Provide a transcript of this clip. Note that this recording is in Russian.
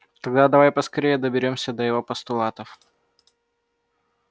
тогда давай поскорее доберёмся до его постулатов